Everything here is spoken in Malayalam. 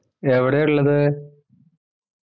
എവിടാ ഇള്ളത്